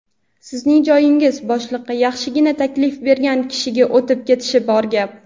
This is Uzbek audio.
sizning joyingiz boshliqqa yaxshigina taklif bergan kishiga o‘tib ketishi bor gap.